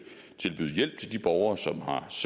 borgere som